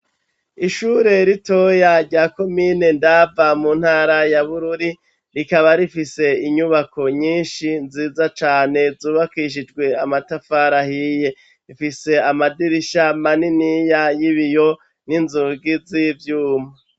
Ishure ritoya, rya komine Ndava, mu ntara ya Bururi, rikaba rifise inyubako nyinshi nziza cane, zubakishijwe amatafari ahiye; ifise amadirisha maniniya y'ibiyo, n'inzugi z'ivyuma.